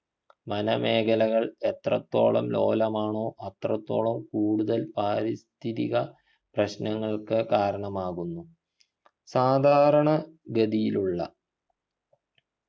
വനമേഖലകൾ എത്രത്തോളം ലോലമാണോ അത്രത്തോളം കൂടുതൽ പാരിസ്ഥിതിക പ്രശ്നങ്ങൾക്ക് കാരണമാകുന്നു സാധാരണ ഗതിയിലുള്ള